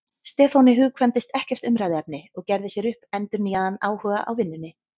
Stefáni hugkvæmdist ekkert umræðuefni og gerði sér upp endurnýjaðan áhuga á vinnunni.